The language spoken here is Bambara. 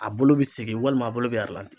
A bolo be segin walima a bolo be aralanti